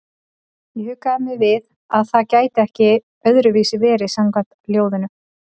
Ég huggaði mig við að það gæti ekki öðruvísi verið samkvæmt ljóðinu.